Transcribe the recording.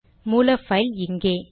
மூல பைல் இங்கே